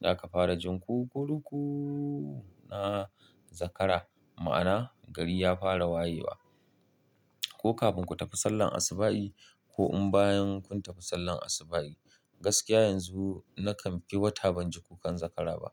za ka fara jin ku-ku-ru-ku na zakara. Ma'ana gari ya fara wayewa. Ko kafin ku tafi sallar asuba'i ko in bayan kun tafi sallar asuba'i. Gaskiya yanzu nakan fi wata ban ji kukan zakara ba.